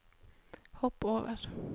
hopp over